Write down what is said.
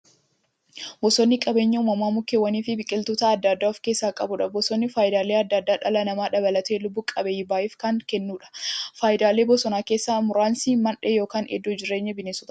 Bosonni qabeenya uumamaa mukkeewwaniifi biqiltoota adda addaa of keessaa qabudha. Bosonni faayidaalee adda addaa dhala namaa dabalatee lubbuu qabeeyyii baay'eef kan kennuudha. Faayidaalee bosonaa keessaa muraasni; Mandhee yookin iddoo jireenya bineensotaati.